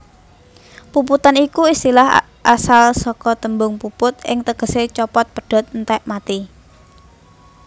Puputan iku istilah asal saka tembung puput sing tegesé copot pedhot entèk mati